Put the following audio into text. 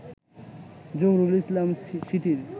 জহুরুল ইসলাম সিটির